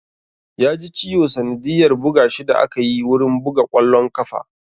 Ya ji ciwo sanadiyyar buga shi da akayi wurin buga ƙwallon ƙafa